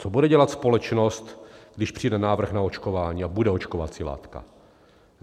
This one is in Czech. Co bude dělat společnost, když přijde návrh na očkování a bude očkovací látka?